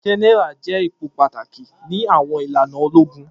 Gẹ́nẹ́ra jẹ ipò pàtàkì ni àwọn ìlànà ológun